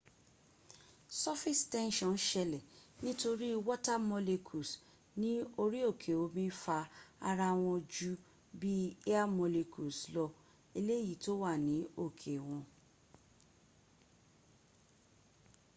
surface tension ṣẹlẹ̀ nítorí water molecules ní orí òkè omi fa ara wọn ju bí air molecules lọ eléyìí tó wà ní òkè wọn